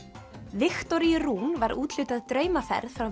Viktoríu Rún var úthlutað draumaferð frá